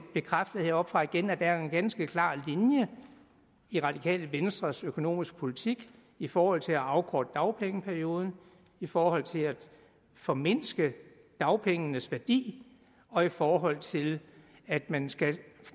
bekræftet heroppefra igen at der er en ganske klar linje i radikale venstres økonomiske politik i forhold til at afkorte dagpengeperioden i forhold til at formindske dagpengenes værdi og i forhold til at man skal